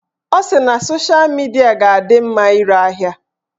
Ọ sị na sosha midia ga-adị mma ire ahịa